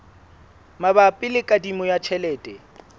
mabapi le kadimo ya tjhelete